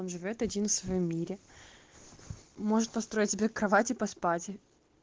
он живёт один в своём мире может построить себе кровать и поспать